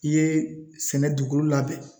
I ye sɛnɛ dugukolo labɛn